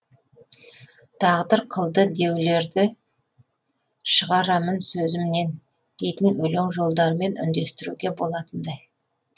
тағдыр қылды деулерді шығарамын сөзімнен дейтін өлең жолдарымен үндестіруге болатындай